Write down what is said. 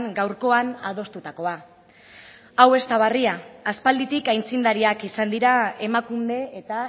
gaurkoan adostutakoa hau ez da berria aspalditik aitzindariak izan dira emakunde eta